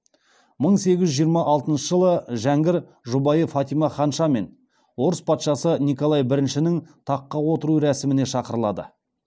мың сегіз жүз жиырма алтыншы жылы хан жәңгір жұбайы фатима ханшамен орыс патшасы николай біріншінің таққа отыру рәсіміне шақырылады